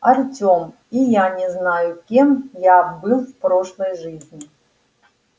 артём и я не знаю кем я был в прошлой жизни